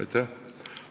Aitäh!